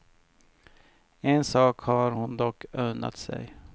En sak har hon dock unnat sig.